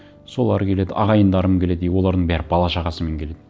солар келеді ағайындарым келеді и олардың бәрі бала шағасымен келеді